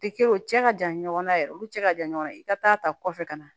Tɛ kɛ o cɛ ka jan ɲɔgɔn na yɛrɛ olu cɛ ka jan ɲɔgɔn na i ka taa ta kɔfɛ ka na